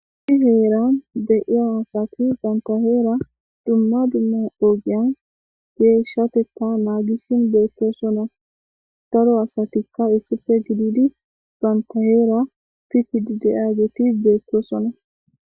Issi heeran de77iya asatti dumma dumma banta herra nangishe deyssi bettessona darro asati bantta heera pittidi de'yagey bettosona.